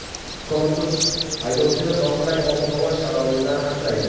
Korpus haydovchini noqulay ob-havo sharoitidan asraydi.